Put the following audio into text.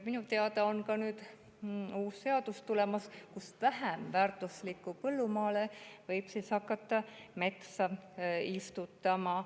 Minu teada on tulemas uus seadus, mille järgi võib vähem väärtuslikule põllumaale hakata metsa istutama.